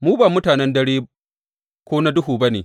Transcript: Mu ba mutanen dare ko na duhu ba ne.